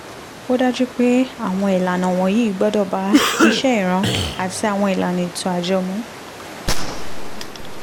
ó dájú pé àwọn ìlànà wọ̀nyí gbọ́dọ̀ bá iṣẹ́ ìran àti àwọn ìlànà ètò àjọ mu